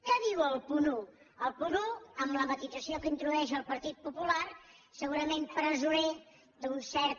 què diu el punt un el punt un amb la matisació que introdueix el partit popular segurament presoner d’un cert